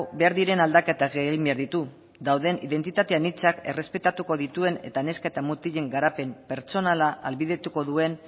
behar diren aldaketak egin behar ditu dauden identitate anitzak errespetatuko dituen eta neska eta mutilen garapen pertsonala ahalbidetuko duen